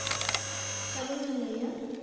কেমন আছেন ভাইয়া?